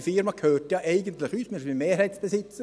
die Firma gehört eigentlich uns, wir sind Mehrheitsbesitzer.